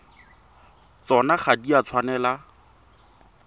tsona ga di a tshwanela